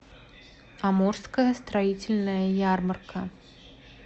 амурская строительная ярмарка